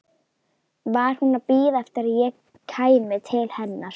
Var hún að bíða eftir að ég kæmi til hennar?